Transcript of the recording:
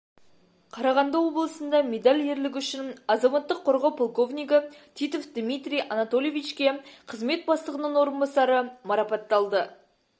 қарағанды облысында медаль ерлігі үшін азаматтық қорғау полковнигі титов дмитрий анатольевичке қызмет бастығының орынбасары марапатталды